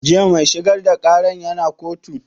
Jiya mai shigar da ƙaran ya na kotu?